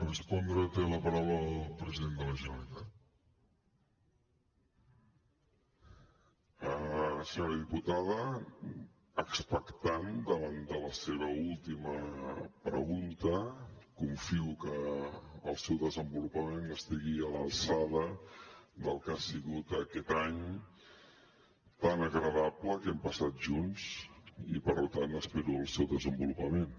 senyora diputada expectant davant de la seva última pregunta confio que el seu desenvolupament estigui a l’alçada del que ha sigut aquest any tan agradable que hem passat junts i per tant espero el seu desenvolupament